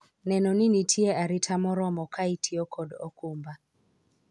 neno ni nitie arita moromo ka itiyo kod okumba